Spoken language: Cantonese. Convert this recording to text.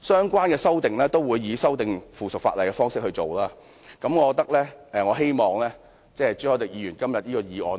相關的修訂都會以附屬法例的方式進行，我希望各位同事不要支持朱凱廸議員這項議案，讓